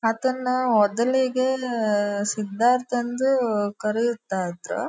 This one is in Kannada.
ಅದನ್ನ ಮೊದಲಿಗೆ ಸಿದ್ದಾರ್ಥ್ ಅಂದು ಕರೆಯುತ್ತ ಇದ್ರೂ.